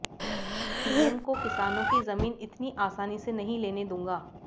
PM को किसानों की जमीन इतनी आसानी से नहीं लेने दूंगा